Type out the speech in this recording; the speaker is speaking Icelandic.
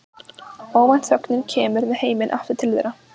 Óvænt þögnin kemur með heiminn aftur til þeirra.